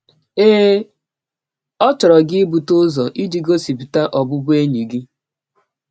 Ee, ọ chọrọ gị ibute ụzọ iji gọsipụta ọbụbụenyi gị.